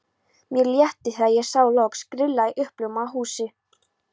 Mér létti þegar ég sá loks grilla í uppljómað húsið.